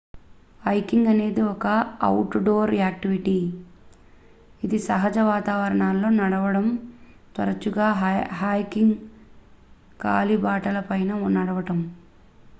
hiking అనేది ఒక outdoor activity ఇది సహజ వాతావరణాల్లో నడవడం తరచుగా హైకింగ్ కాలిబాటలపై నడవడం